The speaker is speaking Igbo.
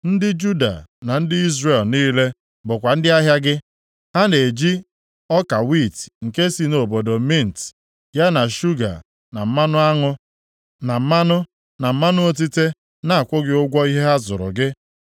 “ ‘Ndị Juda na ndị Izrel niile bụkwa ndị ahịa gị. Ha na-eji ọka wiiti nke si nʼobodo Minit, ya na shuga, na mmanụ aṅụ, na mmanụ, na mmanụ otite na-akwụ gị ụgwọ ihe ha zụrụ gị.